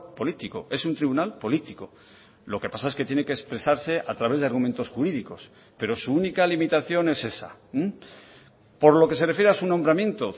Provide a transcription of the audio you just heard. político es un tribunal político lo que pasa es que tiene que expresarse a través de argumentos jurídicos pero su única limitación es esa por lo que se refiere a su nombramiento